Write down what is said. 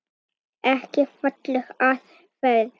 Ekki falleg aðferð.